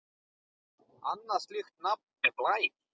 Annað slíkt nafn er Blær.